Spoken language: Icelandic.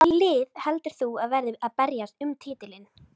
Hvaða lið heldur þú að verði að berjast um titilinn?